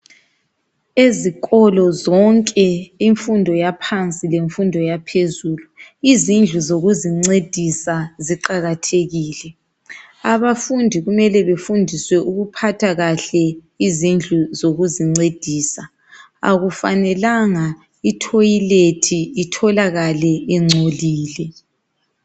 Ezikolo zonke ezemfundo yaphansi leyaphezulu izindlu zokuzincedisa ziqakathekile. Abafundi kufanele bafundiswe ukuphatha kuhle izindlu zokuzincedisa. Isambuzi akufanelanga sihlale singcolile.